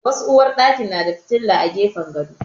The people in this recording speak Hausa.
Wasu uwarɗaki na da fitila a gefen gado.